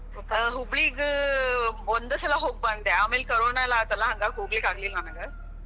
ಅ ಹುಬ್ಬಳಿಗ್ ಆ ಒಂದ್ ಸಲಾ ಹೋಗ್ ಬಂದೆ, ಆಮ್ಯಾಲ ಕೊರೋನಾ ಯೆಲ್ಲಾ ಆಯ್ತಲ್ಲ ಹಂಗ ಆಗ್ ಹೋಗಲಿಕ್ ಆಗಲಿಲ್ಲಾ ನಂಗ. .